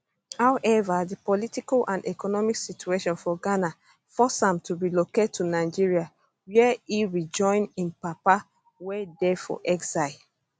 however di political and economic situation for ghana force am to relocate to nigeria wia e rejoin im papa wey dey for exile